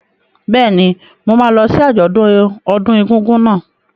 Bẹ́ẹ̀ni, mo máa lọ sí àjọ̀dún ọdún egúngún náà.